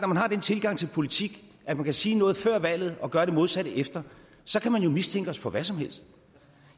man har den tilgang til politik at man kan sige noget før valget og gøre det modsatte efter så kan man jo mistænke os for hvad som helst